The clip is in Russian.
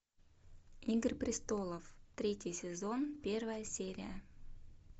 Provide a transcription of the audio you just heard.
игры престолов третий сезон первая серия